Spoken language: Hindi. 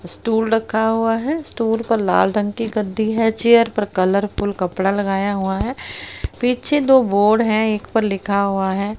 स्टूल रखा हुआ है स्टूल पर लाल रंग की गद्दी है चेयर पर कलरफुल कपड़ा लगाया हुआ है पीछे दो बोर्ड है एक पर लिखा हुआ है।